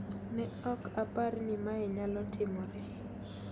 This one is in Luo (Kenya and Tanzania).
Ne ok apar ni mae nyalotimore